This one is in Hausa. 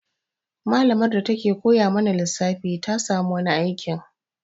Malamar da ta ke koya mana lissafi ta samu wani aikin